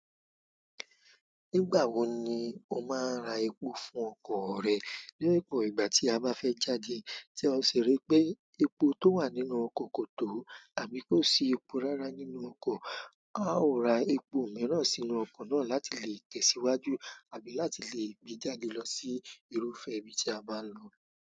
Nígbàwo ni o máa ń ra epo fún ọkọ̀ rẹ ní òpò tí a bá fé jáde tí a sì ripé epo tó wà nínú okò kò tó àbí kò sí epo rárá nínú okò. A ó ra epo mìíràn sínú okò náà láti lè tẹ̀síwájú àbí láti lè gbe jáde lo sí irúfẹ́ e ibi tí a bá n lo.